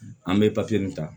An bɛ papiye nin ta